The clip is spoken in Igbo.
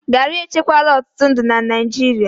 garri echekwala ọtụtụ ndụ na Naịjirịa